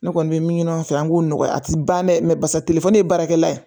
Ne kɔni bɛ min ɲini an fɛ yan an k'o nɔgɔya a tɛ ban dɛ basa telefɔni ye baarakɛla ye